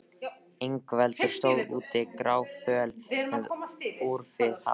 Ingveldur stóð úti gráföl með úfið hár.